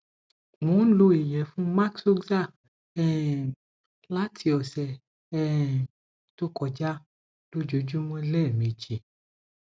mo n lo iyefun ]maxoza um lati ọsẹ um to koja lójoojúmọ́ lẹ́ẹ̀mejì